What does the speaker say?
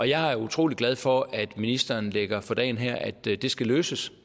jeg er utrolig glad for at ministeren lægger for dagen her at det det skal løses